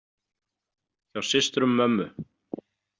Hjá systrum mömmu.